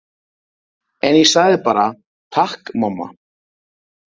En ég sagði bara: Takk mamma.